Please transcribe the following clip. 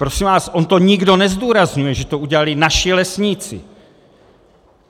Prosím vás, on to nikdo nezdůrazňuje, že to udělali naši lesníci.